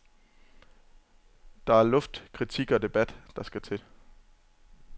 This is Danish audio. Det er luft, kritik og debat, der skal til.